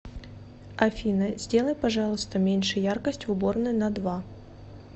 афина сделай пожалуйста меньше яркость в уборной на два